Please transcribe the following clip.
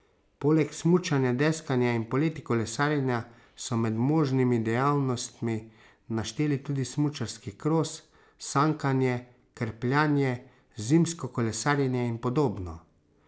Poleg smučanja, deskanja in poleti kolesarjenja so med možnimi dejavnostmi našteli tudi smučarski kros, sankanje, krpljanje, zimsko kolesarjenje in podobno.